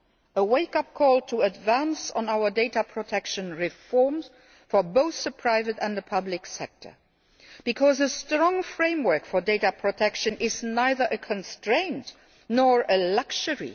a wake up call to advance on our data protection reforms for both the private and the public sector, because a strong framework for data protection is neither a constraint nor a luxury.